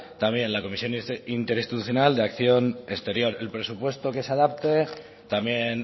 también la comisión interinstitucional de acción exterior el presupuesto que se adapte también